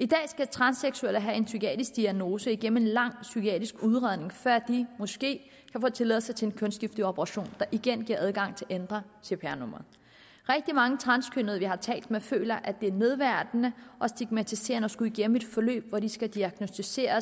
i dag skal transseksuelle have en psykiatrisk diagnose gennem en lang psykiatrisk udredning før de måske kan få tilladelse til en kønsskifteoperation der igen giver adgang til at ændre cpr nummeret rigtig mange transkønnede vi har talt med føler at det er nedværdigende og stigmatiserende at skulle igennem et forløb som skal diagnosticere